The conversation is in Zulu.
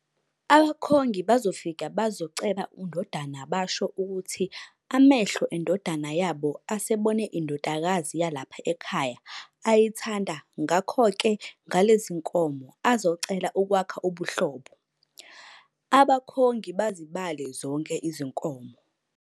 Abakhongi bazofika bazoceba undodana basho ukuthi amehlo endodana yabo asebone indodakazi yalapha ekhaya ayithanda ngakho ke ngalezinkomo azocela ukwakha ubuhlobo, abakhongi bazibale zonke izinkomo.